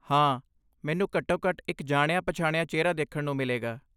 ਹਾਂ, ਮੈਨੂੰ ਘੱਟੋ ਘੱਟ ਇੱਕ ਜਾਣਿਆ ਪਛਾਣਿਆ ਚਿਹਰਾ ਦੇਖਣ ਨੂੰ ਮਿਲੇਗਾ